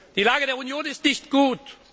Die Lage der Union ist nicht gut.